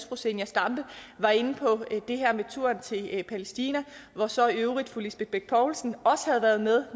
fru zenia stampe var inde på det her med turen til palæstina hvor så i øvrigt fru lisbeth bech poulsen også havde været med